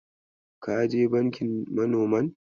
Ka je bankin manoman?